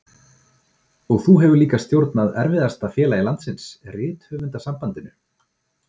Og þú hefur líka stjórnað erfiðasta félagi landsins, Rithöfundasambandinu.